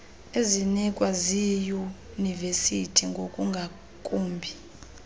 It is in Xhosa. ezinikwa ziiyunivesiti ngokungakumbi